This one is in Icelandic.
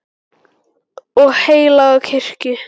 og heilaga kirkju